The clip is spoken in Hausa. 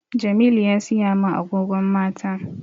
Jamilu ya siya min agogon mata